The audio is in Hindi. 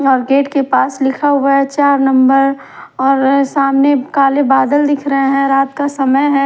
और गेट के पास लिखा हुआ है चार नंबर और सामने काले बादल दिख रहे हैं रात का समय है।